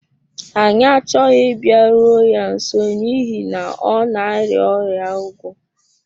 Anyị achọghị ịbịaru ya nso n’ihi na ọ na-arịa ọrịa ugwo.